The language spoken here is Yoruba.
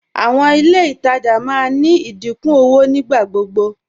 Àwọn ilẹ̀ ìtajà máa ní ìdíkún owó nígbàgbọgbọ